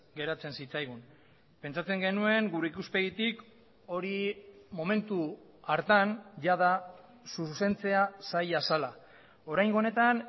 geratzen zitzaigun pentsatzen genuen gure ikuspegitik hori momentu hartan jada zuzentzea zaila zela oraingo honetan